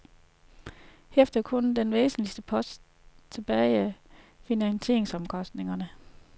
Herefter er der kun den væsentligste post tilbage, finansieringsomkostningerne.